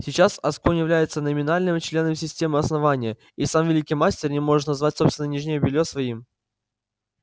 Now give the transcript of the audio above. сейчас асконь является номинальным членом системы основания и сам великий мастер не может назвать собственное нижнее белье своим